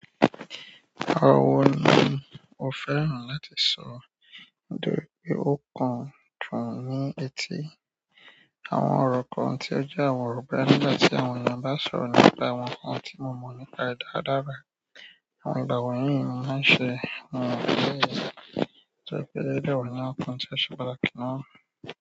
Àwọn ni mo fẹ́ràn láti sọ, ntori pe ó kan fún ní etí. Àwọn ọ̀rọ̀ kan tí ó jẹ́ àwọn ọ̀rọ̀ boya nígbà tí àwọn èèyàn bá sọ̀rọ̀ nípa àwọn nǹkan tí mo mọ̀ nípa rẹ̀ dáadáa ba àwọn ìgbà wọ̀nyí ni mo máa ń ṣe àwọn ìgbésẹ̀ tó ye pé ode wa ni àwọn nnkàn tí oṣẹ̀ patakí ni wọ̀n.